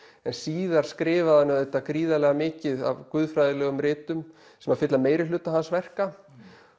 en síðar skrifaði hann auðvitað gríðarlega mikið af guðfræðilegum ritum sem að fylla meirihluta hans verka